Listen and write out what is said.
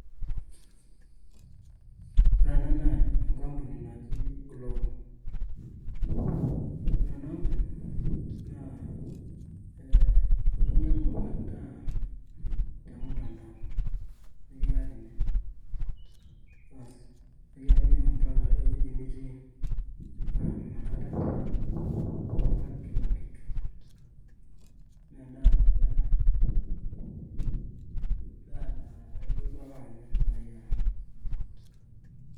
ore ena naa enkampuni naji glovo . ore enaampuni ee naa inyiangu endaa temutandao nikiyakini. bas ,nikiyakini ewueji nitii paa inakata taa ilak kila kitu , naa endaa nayiera ,endaa naa ilotu ake anaya nayiera